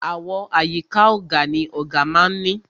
Àwo àyíká ọ̀gà ni ọ̀gà má a ń ní.